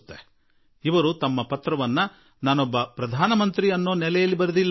ಅಷ್ಟೇ ಅಲ್ಲ ಅವರು ಪತ್ರವನ್ನೂ ನನಗೆ ಪ್ರಧಾನಮಂತ್ರಿ ಎಂದು ಸಂಬೋಧಿಸಿ ಅವರು ಬರೆದಿಲ್ಲ